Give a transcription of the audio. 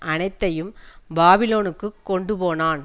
அனைத்தையும் பாபிலோனுக்கு கொண்டுபோனான்